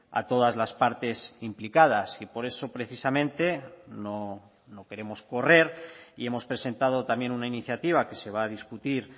a todas las partes implicadas y por eso precisamente no queremos correr y hemos presentado también una iniciativa que se va a discutir